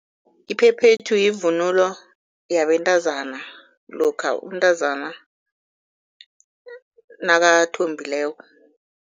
Iphephethu yivunulo yabentazana lokha umntazana nakathombileko.